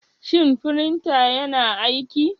Shin firinta yana aiki?